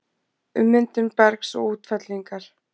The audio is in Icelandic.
Ummyndun bergs og útfellingar